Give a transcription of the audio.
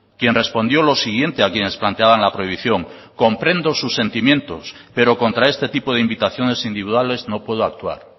quien respondió lo siguiente a quienes planteaban la prohibición comprendo sus sentimientos pero contra este tipo de invitaciones individuales no puedo actuar